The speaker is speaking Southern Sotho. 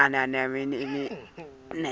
ho se be lengwana ya